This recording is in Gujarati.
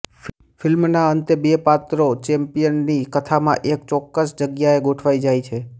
ફિલ્મના અંતે બે પાત્રો ચૅપ્લિનની કથામાં એક ચોક્કસ જગ્યાએ ગોઠવાઈ જાય છે